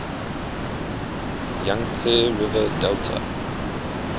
yangtze river delta